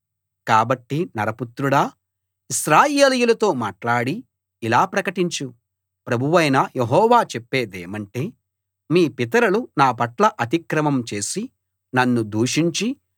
కాబట్టి నరపుత్రుడా ఇశ్రాయేలీయులతో మాట్లాడి ఇలా ప్రకటించు ప్రభువైన యెహోవా చెప్పేదేమంటే మీ పితరులు నా పట్ల అతిక్రమం చేసి నన్ను దూషించి